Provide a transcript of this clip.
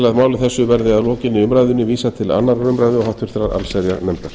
að máli þessu verði að lokinni umræðunni vísað til annars um og háttvirtrar allsherjarnefndar